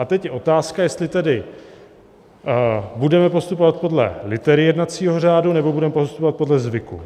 A teď je otázka, jestli tedy budeme postupovat podle litery jednacího řádu, nebo budeme postupovat podle zvyku.